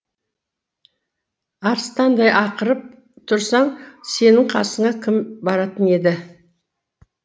арыстандай ақырып тұрсаң сенің қасына кім баратын еді